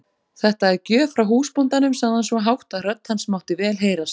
Þetta er gjöf frá húsbóndanum, sagði hann svo hátt að rödd hans mátti vel heyrast.